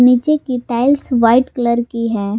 नीचे की tiles white colour की है।